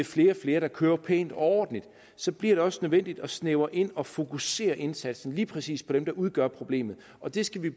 flere og flere der kører pænt og ordentligt så bliver det også nødvendigt at snævre det ind og fokusere indsatsen på lige præcis dem der udgør problemet og det skal vi